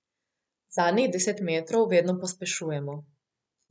Zadnjih deset metrov vedno pospešujemo.